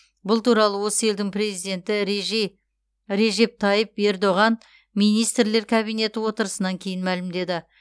бұл туралы осы елдің президенті режи режеп тайып ердоған министрлер кабинеті отырысынан кейін мәлімдеді